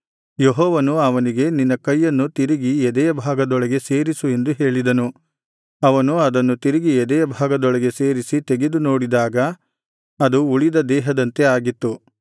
ಯೆಹೋವನು ಅವನಿಗೆ ನಿನ್ನ ಕೈಯನ್ನು ತಿರುಗಿ ಎದೆಯಭಾಗದೊಳಗೆ ಸೇರಿಸು ಎಂದು ಹೇಳಿದನು ಅವನು ಅದನ್ನು ತಿರುಗಿ ಎದೆಯಭಾಗದೊಳಗೆ ಸೇರಿಸಿ ತೆಗೆದು ನೋಡಿದಾಗ ಅದು ಉಳಿದ ದೇಹದಂತೆ ಆಗಿತ್ತು